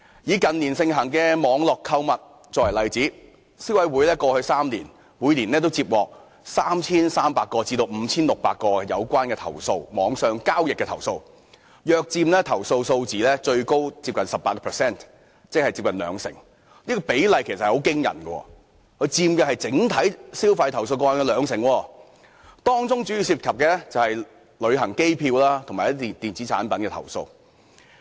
以近年盛行的網絡購物為例，過去3年，消費者委員會每年接獲 3,300 宗至 5,600 宗有關網上交易的投訴，最高約佔投訴數字接近 18%， 即接近兩成，這個比例其實很驚人，佔整體消費投訴個案接近兩成，當中主要涉及旅行機票及電子產品的投訴。